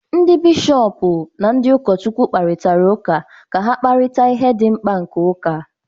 Ndị Bishọp na ndị ụkọchukwu kparịtara ụka ka ha kparịta ihe dị mkpa nke ụka